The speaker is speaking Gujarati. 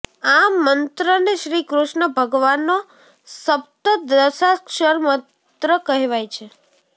આ મંત્રને શ્રી કૃષ્ણ ભગવાનનો સપ્તદશાક્ષર મંત્ર કહેવાય છે